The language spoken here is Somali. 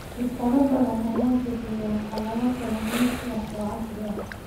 Shirkado badan ayaa bixiya qalab kalluumeysi oo casri ah.